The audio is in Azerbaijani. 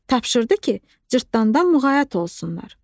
Tapşırdı ki, Cırtdandan muğayat olsunlar.